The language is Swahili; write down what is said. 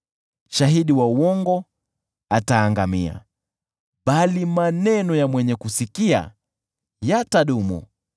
Shahidi wa uongo ataangamia, bali maneno ya mwenye kusikia yatadumu.